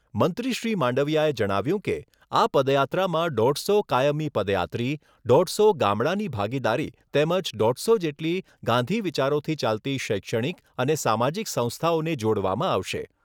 મંત્રી શ્રી માંડવિયાએ જણાવ્યુંં કે, આ પદયાત્રામાં દોઢસો કાયમી પદયાત્રી, દોઢસો ગામડાંની ભાગીદારી તેમજ દોઢસો જેટલી ગાંધી વિચારોથી ચાલતી શૈક્ષણિક અને સામાજિક સંસ્થાઓને જોડવામાં આવશે.